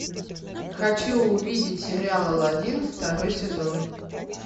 хочу увидеть сериал алладин второй сезон